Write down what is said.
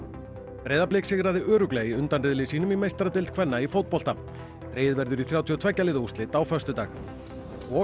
Breiðablik sigraði örugglega í undanriðli sínum í meistaradeild kvenna í fótbolta dregið verður í þrjátíu og tveggja liða úrslit á föstudag og